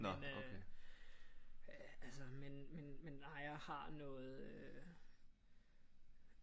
Men øh altså men men nej jeg har noget øh